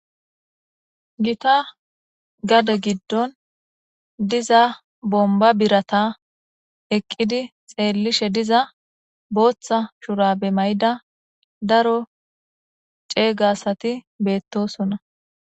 gita gade giddon diza bomba birata eqqidi xeellishe diza booththa shura be may7ida daro ceeygasati beettosona